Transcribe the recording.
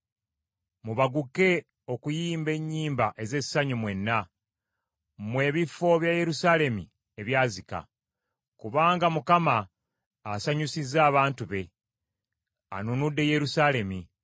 Mubaguke okuyimba ennyimba ez’essanyu mwenna, mmwe ebifo bya Yerusaalemi ebyazika. Kubanga Mukama asanyusizza abantu be, anunudde Yerusaalemi.